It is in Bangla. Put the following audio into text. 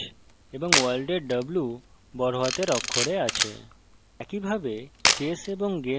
সুতরাং hello এর h এবং world এর w বড়হাতের অক্ষরে আছে